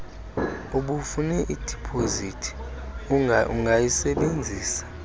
ubufune idipozithi ungayisebenzisa